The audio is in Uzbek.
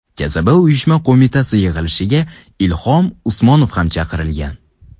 Kasaba uyushma qo‘mitasi yig‘ilishiga Ilhom Usmonov ham chaqirilgan.